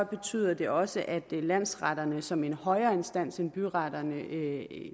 betyder det også at landsretterne som en højere instans end byretterne